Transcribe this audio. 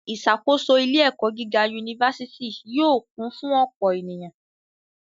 Ìṣàkóso ilé-ẹ̀kọ́ gíga yunifásítì yóò kún fún ọ̀pọ̀ ènìyàn.